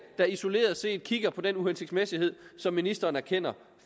man isoleret set kigger på den uhensigtsmæssighed som ministeren erkender